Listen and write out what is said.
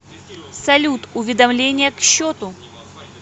салют уведомления к счету